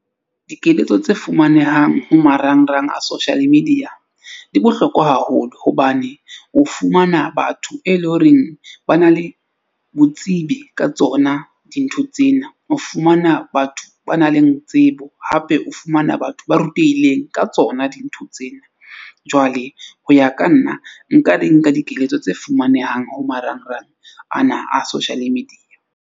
Dikeletso tse fumanehang ho marangrang a social media di bohlokwa haholo. Hobane o fumana batho e leng horeng ba na le botsebi ka tsona dintho tsena. O fumana batho ba nang le tsebo, hape o fumana batho ba rutehileng ka tsona dintho tsena. Jwale ho ya ka nna nka di nka dikeletso tse fumanehang ho marangrang ana a social media.